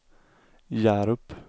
Hjärup